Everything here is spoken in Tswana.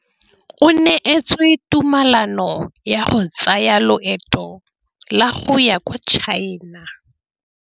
O neetswe tumalanô ya go tsaya loetô la go ya kwa China.